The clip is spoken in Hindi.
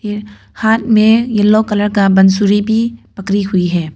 हाथ में येलो कलर का बांसुरी भी पकड़ी हुई है।